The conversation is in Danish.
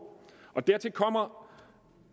dertil kommer